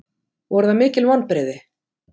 Voru það mikil vonbrigði?